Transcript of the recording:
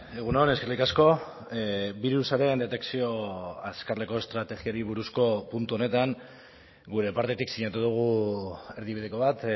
egun on eskerrik asko birusaren detekzio azkarreko estrategiari buruzko puntu honetan gure partetik sinatu dugu erdibideko bat